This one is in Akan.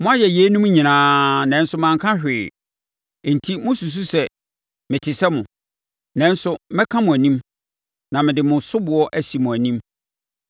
Moayɛ yeinom nyinaa; nanso manka hwee, enti mosusu sɛ mete sɛ mo. Nanso mɛka mo anim na mede mo soboɔ asi mo anim.